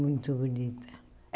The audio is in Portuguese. Muito bonita.